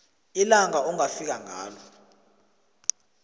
ilanga ongafika ngalo